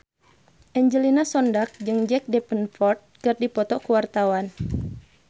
Angelina Sondakh jeung Jack Davenport keur dipoto ku wartawan